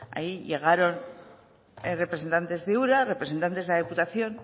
ahí llegaron representantes de ura representantes de la diputación